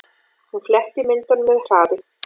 Hún fletti myndunum með hraði.